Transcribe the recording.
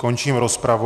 Končím rozpravu.